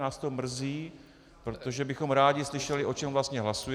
Nás to mrzí, protože bychom rádi slyšeli, o čem vlastně hlasujeme.